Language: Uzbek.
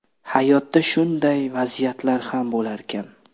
Hayotda shunday vaziyatlar ham bo‘larkan.